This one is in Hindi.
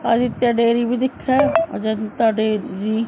आदित्य डेरी भी दिख रहा है अजंता डेरी --